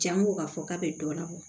Jango k'a fɔ k'a bɛ dɔ labɔ